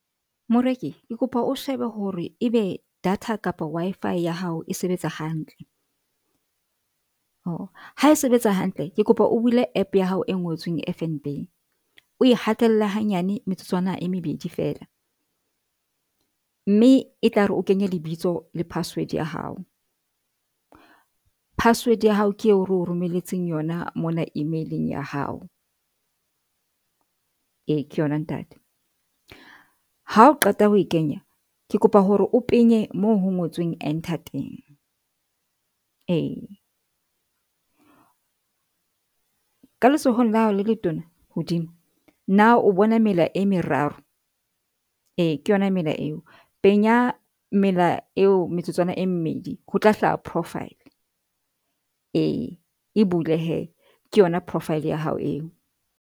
Moreki ke kopa o shebe hore ebe data kapa Wi-Fi ya hao e sebetsa hantle, o ha e sebetsa hantle, ke kopa o bule app ya hao e ngotsweng F_N_B o e hatella hanyane metsotswana e mebedi fela. Mme e tlare o kenye lebitso le password ya hao. Password ya hao ke eo re o romeletseng yona mona e-mail-ing ya hao. Ee, ke yona ntate. Ha o qeta ho e kenya, ke kopa hore o penye moo ho ngotsweng enter teng. Ee, ka letsohong la hao le letona hodimo. Na o bona mela e meraro? Ee ke yona mela eo penya mela eo metsotswana e mmedi ho tla hlaha profile. Ee, e bule hee, ke yona profile ya hao eo.